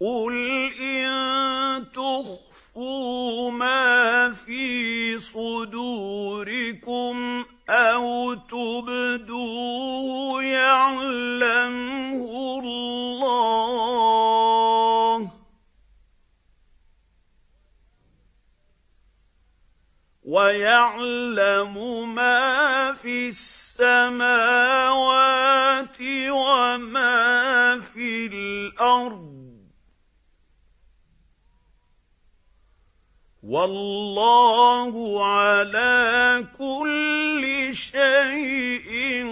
قُلْ إِن تُخْفُوا مَا فِي صُدُورِكُمْ أَوْ تُبْدُوهُ يَعْلَمْهُ اللَّهُ ۗ وَيَعْلَمُ مَا فِي السَّمَاوَاتِ وَمَا فِي الْأَرْضِ ۗ وَاللَّهُ عَلَىٰ كُلِّ شَيْءٍ